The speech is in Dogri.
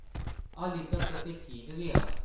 ‘‘हाल्ली तक्कर ते ठीक गै आं ।’’